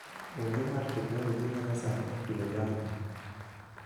onge mar teknoloji ma nyasani e pidho jamni.